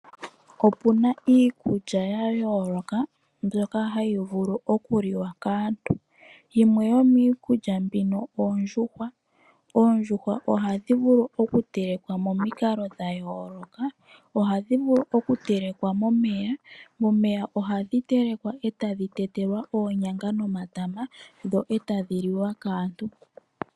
Opu na iikulya ya yooloka mbyoka hayi vulu okuliwa kaantu. Yimwe yomiikulya mbino oondjuhwa. Oondjuhwa ohadhi vulu okutelekwa momikalo dhayooloka. Ohadhi vulu okutelekwa momeya. Momeya ohadhi telekwa etadhi tetelwa oonyanga nomatama dho e tadhi liwa kaantu.